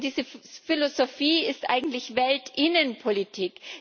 Diese Philosophie ist eigentlich Weltinnenpolitik.